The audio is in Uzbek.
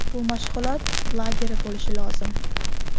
Bu mashg‘ulot lageri bo‘lishi lozim.